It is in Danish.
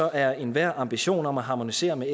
er enhver ambition om at harmonisere med